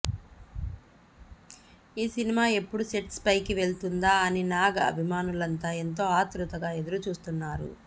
ఈ సినిమా ఎప్పుడు సెట్స్ పైకి వెళుతుందా అని నాగ్ అభిమానులంతా ఎంతో ఆత్రుతగా ఎదురుచూస్తున్నారు